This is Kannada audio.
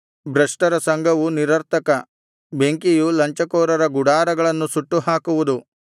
ಭ್ರಷ್ಟರ ಸಂಘವು ನಿರರ್ಥಕ ಬೆಂಕಿಯು ಲಂಚಕೋರರ ಗುಡಾರಗಳನ್ನು ಸುಟ್ಟು ಹಾಕುವುದು